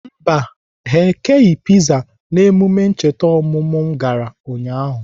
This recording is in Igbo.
Mba, ha ekeghị piza n'emume ncheta ọmụmụ m gara ụnyaahụ